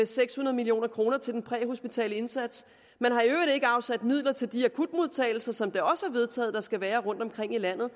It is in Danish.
seks hundrede million kroner til den præhospitale indsats man har i øvrigt ikke afsat midler til de akutmodtagelser som det også er vedtaget der skal være rundt omkring i landet